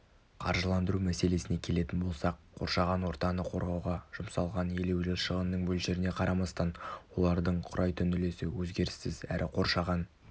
қаржыландыру мәселесіне келетін болсақ қоршаған ортаны қорғауға жұмсалған елеулі шығынның мөлшеріне қарамастан олардың құрайтын үлесі өзгеріссіз әрі қоршаған